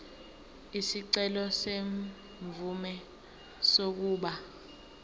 isicelo semvume yokuba